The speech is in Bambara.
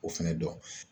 O fɛnɛ dɔn